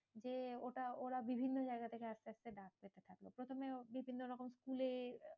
যে ওটা ওরা বিভিন্ন জায়গা থেকে আস্তে আস্তে ডাক পেতে থাকলো। প্রথমে বিভিন্ন রকম স্কুলে